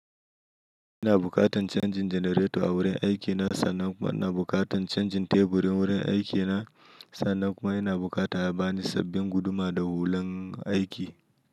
Ina bukatan canjin janareto a wurin aiki na, sannan kuma ina bukatan canjin teburin wurin aiki na, sannan kuma ina bukata ya bani sabbin guduma da hulan aiki.